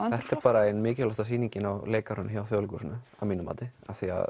þetta er bara ein mikilvægasta sýningin á leikárinu hjá Þjóðleikhúsinu að mínu mati af því